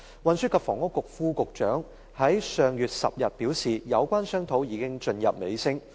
運輸及房屋局副局長於上月10日表示，有關商討已進入尾聲。